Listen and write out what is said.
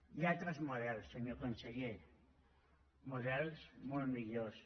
hi ha altres models senyor conseller models molt millors